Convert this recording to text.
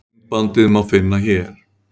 myndbandið má finna hér